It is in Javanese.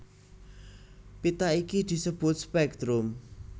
Pita iki disebut spèktrum